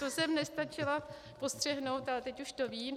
To jsem nestačila postřehnout, ale teď už to vím.